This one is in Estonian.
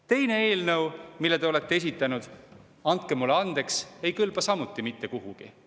Teine eelnõu, mille te olete esitanud – andke mulle andeks –, ei kõlba samuti mitte kuhugi.